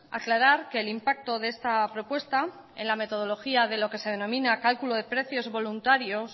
aclarar que el impacto de esta propuesta en la metodología de lo que se denomina cálculo de precios voluntarios